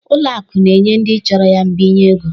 Ụlọ akụ na-enye ndị chọrọ ya mbinye ego